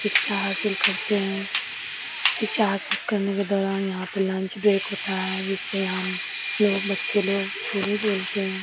शिक्षा हासिल करते हैं शिक्षा हासिल करने के दौरान यहाँ पे लंच ब्रेक होता है जिससे हम लोग बच्चे लोग झूले झूलते हैं |